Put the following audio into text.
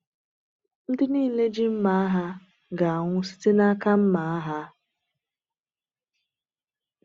“Ndị niile ji mma agha ga-anwụ site n’aka mma agha.”